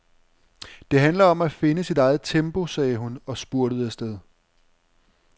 Det handler om at finde sit eget tempo, sagde hun og spurtede afsted.